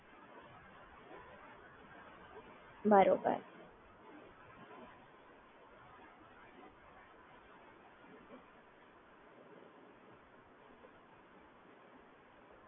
હ